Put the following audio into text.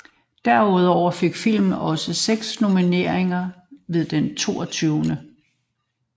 Derudover fik filmen også seks nomineringer ved den 22